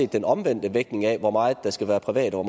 den omvendte vægtning af hvor meget der skal være privat og